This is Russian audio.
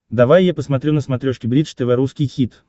давай я посмотрю на смотрешке бридж тв русский хит